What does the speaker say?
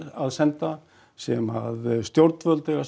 að senda sem stjórnvöld eiga að